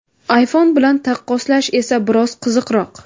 iPhone bilan taqqoslash esa biroz qiziqroq.